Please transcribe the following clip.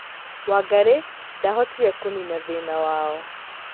Wangari ndahotire kũnina thĩna wao